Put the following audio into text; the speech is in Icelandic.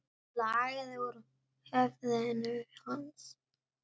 Blóðið lagaði úr höfði hans.